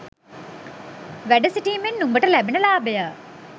වැඩ සිටීමෙන් නුඹට ලැබෙන ලාභය.